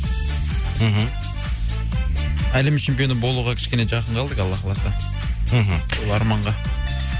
мхм әлем чемпионы болуға кішкене жақын қалдық алла қаласа мхм сол арманға